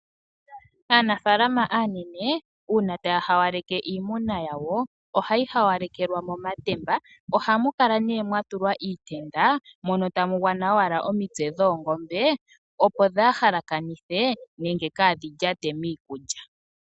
Aanafalama aanene uuna taya hawaleke iimuna yawo oha yi hawalekelwa momatemba oha mu kala nee mwa tulwa iitenda mono tamu gwana owala omitse dhoongombe opo dhaahalakanithe nenge dhaalyate miikulya.